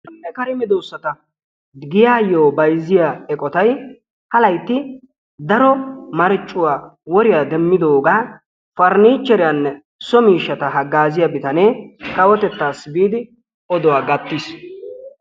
Sonne kare medoossata giyayyo bayzziya eqotay ha laytti daro marccuwa woriya demmidoogaa parniichcheriyaanne so miishshata haggaaziya bitanee kawotettassi biidi oduwa gattiis.